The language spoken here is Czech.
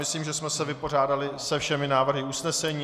Myslím, že jsme se vypořádali se všemi návrhy usnesení.